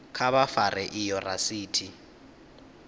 kha vha fare iyo rasiti